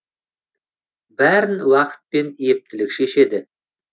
бәрін уақыт пен ептілік шешеді